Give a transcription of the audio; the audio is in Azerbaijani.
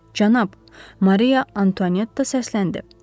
Cənab, Mariya Anto netta səsləndi.